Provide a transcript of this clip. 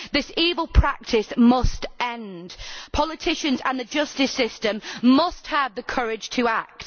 This evil practice must end. Politicians and the justice system must have the courage to act.